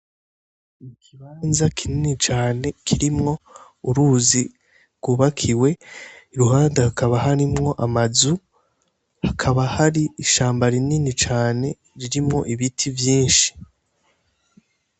Ikibanza kinini cane kirimwo uruzi rwubakiwe i ruhanda hakaba harimwo amazu hakaba hari ishamba rinini cane ririmwo ibiti vyinshi.